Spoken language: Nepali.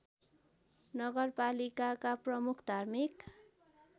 नगरपालिकाका प्रमुख धार्मिक